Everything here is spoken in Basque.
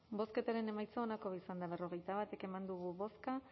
bozketaren emaitza onako izan da hirurogeita hamabost eman dugu bozka